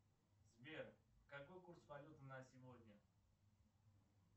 сбер какой курс валюты на сегодня